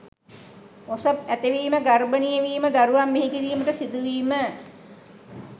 ඔසප් ඇතිවීම, ගර්භණී වීම, දරුවන් බිහිකිරීමට සිදුවීම